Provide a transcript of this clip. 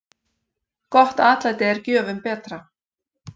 Gott atlæti er gjöfum betra.